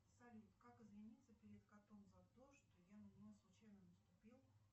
салют как извиниться перед котом за то что я на него случайно наступил